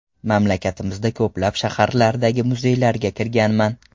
Mamlakatimizdagi ko‘plab shaharlardagi muzeylarga kirganman.